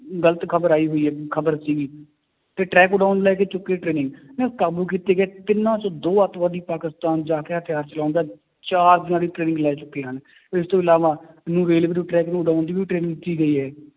ਗ਼ਲਤ ਖ਼ਬਰ ਆਈ ਹੋਈ ਖ਼ਬਰ ਸੀਗੀ ਤੇ ਲੈ ਕੇ ਚੁੱਕੇ ਨਾ ਕਾਬੂ ਕੀਤੇ ਗਏ ਤਿੰਨਾਂ ਚੋੋਂ ਦੋ ਆਤੰਕਵਾਦੀ ਪਾਕਿਸਤਾਨ ਜਾ ਕੇ ਹਥਿਆਰ ਚਲਾਉਣ ਦਾ ਚਾਰ ਦਿਨਾਂ ਦੀ training ਲੈ ਚੁੱਕੇ ਹਨ, ਇਸ ਤੋਂ ਇਲਾਵਾ ਨੂੰ railway ਦੇ track ਨੂੰ ਉਡਾਉਣ ਦੀ ਵੀ training ਦਿੱਤੀ ਗਈ ਹੈ